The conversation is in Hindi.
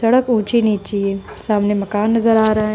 सड़क ऊंची नीची है। सामने मकान नजर आ रहा है।